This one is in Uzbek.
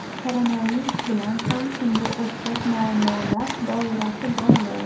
Koronavirus bilan ham shunga o‘xshash muammolar doirasi bog‘liq.